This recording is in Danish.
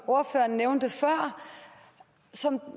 ordføreren nævnte før og som